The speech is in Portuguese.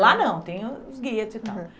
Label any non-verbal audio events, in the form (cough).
Lá não, tem o os, (unintelligible) e tal.